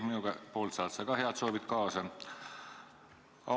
Minu poolt saad sa ka head soovid kaasa!